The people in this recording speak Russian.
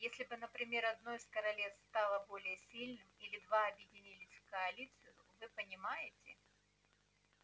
если бы например одно из королевств стало более сильным или два объединились в коалицию вы понимаете